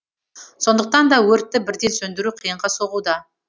сондықтан да өртті бірден сөндіру қиынға соғуда